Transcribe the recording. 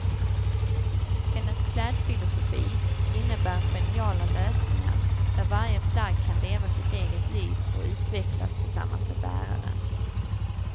Hennes klädfilosofi innebär geniala lösningar där varje plagg kan leva sitt eget liv och utvecklas tillsammans med bäraren.